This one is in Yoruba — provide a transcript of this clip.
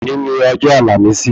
Òní ni ọjọ́ àlàmísì